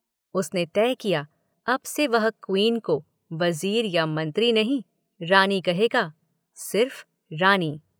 उसने तय किया अब से वह 'क्वीन' को वजीर या मंत्री नहीं, रानी कहेगा।